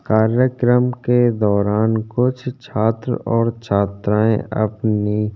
कार्यक्रम के दौरान कुछ छात्र और छात्राएं अपनी --